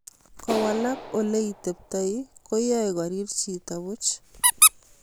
Kowalak ole iteptoi koyae korir chito puch